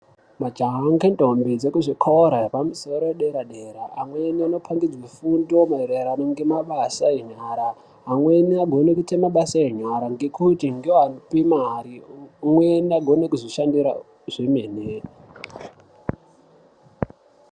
Majaha ngendombi dzekuzvikora zvepamusoro edera dera amweni anopangidzwe fundo maererano ngemabasa enyara amweni agone kuite mabasa enyara ngekuti ngeapi mare umweni agone kuzvishandira zvemene.